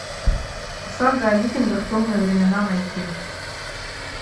сага о викингах темные времена найти